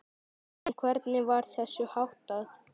En hvernig var þessu háttað?